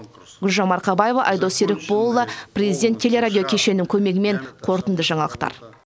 гүлжан марқабаева айдос серікболұлы президент телерадио кешенінің көмегімен қорытынды жаңалықтар